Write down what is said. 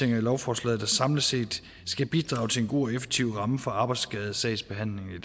i lovforslaget der samlet set skal bidrage til en god og effektiv og ramme for arbejdsskadesagsbehandlingen